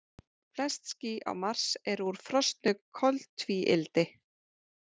Flest ský á Mars eru úr frosnu koltvíildi.